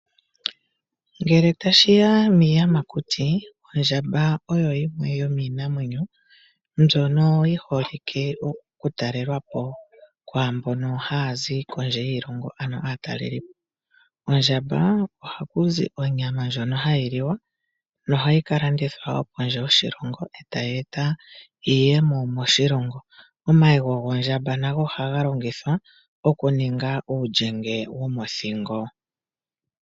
Ngele ya shi ya piiyamakuti, ondja oyo oshinamwe shiholike oku talelwapo kwaambo haa zi kondje yiilongo, ano aatalelipo. Kondjamba oha ku zi onyama ndjono ha yi liwa, no ha yi ka landithwa kondje yoshilongo, eta yi etwa iiyemo moshilongo. Omayego gondjamba nago oha ga longithwa oku ninga uulyenge womothingo.